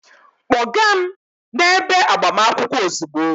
Kpọga m n'ebe agbamakwụkwọ ozugbo!